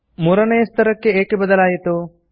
ಮೂರನೇಯ ಸ್ತರಕ್ಕೆ ಏಕೆ ಬದಲಾಯಿತು